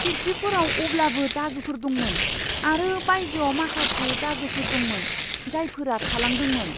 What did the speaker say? खिरखिफोराव अब्लाबो दागोफोर दंमोन, आरो बायजोआव माखासे दागोफोर दंमोन, जायफोरा थालांदोंमोन।